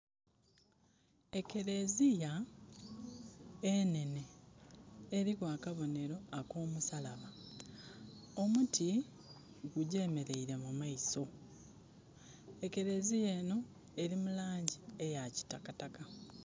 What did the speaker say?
Ekereziya enhenhe eriku akabonhero akomusalaba, omuti gugyemereire mumaiso. Ekereziya enho eri mulangi eyakitakataka.